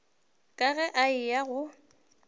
ka ge a eya go